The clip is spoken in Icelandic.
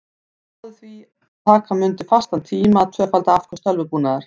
Hann spáði því að taka mundi fastan tíma að tvöfalda afköst tölvubúnaðar.